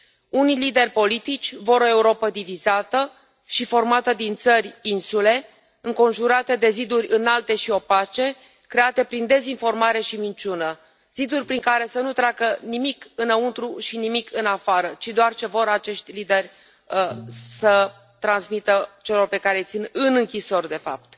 Unii lideri politici vor o Europă divizată și formată din țări insule, înconjurată de ziduri înalte și opace, create prin dezinformare și minciună, ziduri prin care să nu treacă nimic înăuntru și nimic în afară, ci doar ce vor acești lideri să transmită celor pe care îi țin în închisori de fapt.